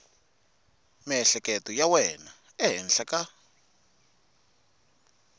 miehleketo ya wena ehenhla ka